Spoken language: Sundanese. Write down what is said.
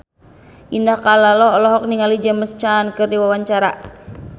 Indah Kalalo olohok ningali James Caan keur diwawancara